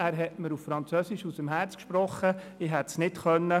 Er hat mir auf Französisch aus dem Herzen gesprochen – ich hätte es nicht gekonnt.